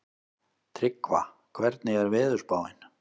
Tryggva, hvernig er veðurspáin?